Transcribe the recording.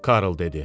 Karl dedi: